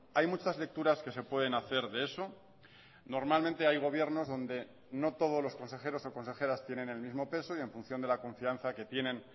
hay muchas lecturas que se pueden hacer de eso normalmente hay gobiernos donde no todos los consejeros o consejeras tienen el mismo peso y en función de la confianza que tienen